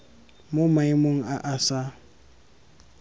mo maemong a a sa